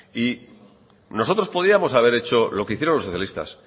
nosotros podríamos haber hecho lo que hicieron los socialistas